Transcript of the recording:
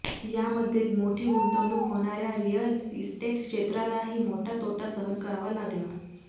यामध्ये मोठी गुंतवणूक होणाऱ्या रिअल इस्टेट क्षेत्रालाही मोठा तोटा सहन करावा लागला